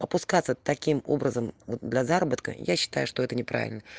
опускаться таким образом до заработков я считаю что это не правильно